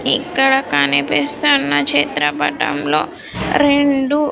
ఇక్కడ కనిపిస్తున్న చిత్రపటంలో రెండు.